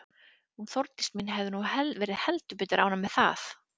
Hún Þórdís mín hefði nú verið heldur betur ánægð með það.